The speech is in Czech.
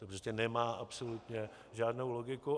To prostě nemá absolutně žádnou logiku.